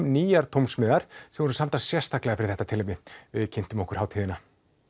nýjar tónsmíðar sem voru samdar sérstaklega fyrir þetta tilefni við kynntum okkur hátíðina